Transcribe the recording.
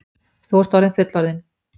Þú ert orðinn fullorðinn.